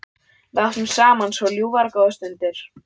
Við áttum saman svo ljúfar og góðar stundir.